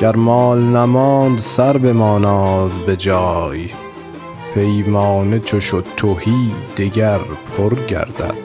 گر مال نماند سر بماناد به جای پیمانه چو شد تهی دگر پر گردد